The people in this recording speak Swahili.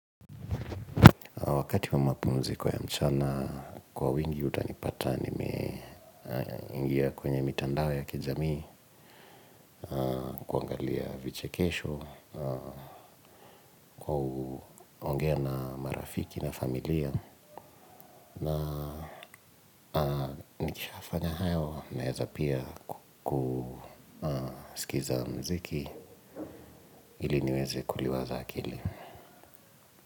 Wakati wa mapumziko ya mchana kwa wingi utanipata nime ingia kwenye mitandao ya kijamii kuangalia vichekesho kuongea na marafiki na familia na nikishafanya hayo naweza pia kusikiza muziki ili niweze kuliwaza akili.